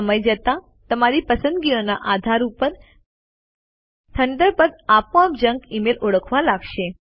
સમય જતાં તમારી પસંદગીઓના આધાર ઉપર થન્ડરબર્ડ આપોઆપ જંક મેઇલ ઓળખવા લાગશે